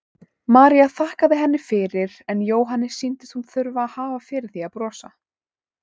María þakkaði henni fyrir en Jóhanni sýndist hún þurfa að hafa fyrir því að brosa.